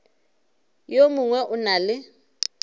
yo mongwe o na le